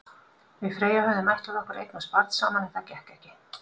Við Freyja höfðum ætlað okkur að eignast barn saman, en það gekk ekki.